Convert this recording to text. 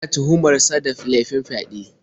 Ana tuhumar sa da laifin fyaɗe.